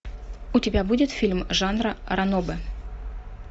у тебя будет фильм жанра ранобэ